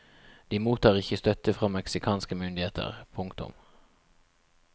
De mottar ikke støtte fra meksikanske myndigheter. punktum